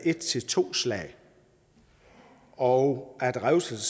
et til to slag og at revselse